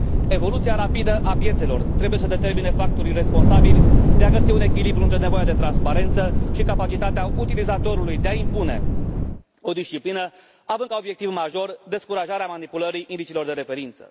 Evoluția rapidă a piețelor trebuie să determine factorii responsabili de a găsi un echilibru între nevoia de transparență și capacitatea utilizatorului de a impune o disciplină, având ca obiectiv major descurajarea manipulării indicilor de referință.